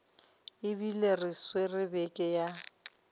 ebile re swere beke ya